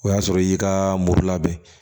O y'a sɔrɔ i y'i ka morilabɛn